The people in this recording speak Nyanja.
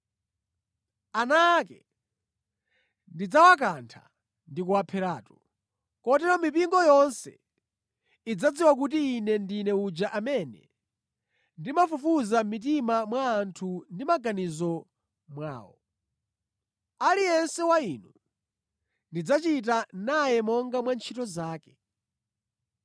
Ana ake ndidzawakantha ndi kuwapheratu. Kotero mipingo yonse idzadziwa kuti Ine ndine uja amene ndimafufuza mʼmitima mwa anthu ndi mʼmaganizo mwawo. Aliyense wa inu ndidzachita naye monga mwa ntchito zake.